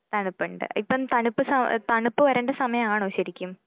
തണുപ്പുണ്ട്, ഇപ്പം തണുപ്പ് സ തണുപ്പ് വരേണ്ട സമയമാണോ ശരിക്കും?